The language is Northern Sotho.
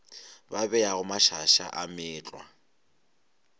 ba beago mašaša a meetlwa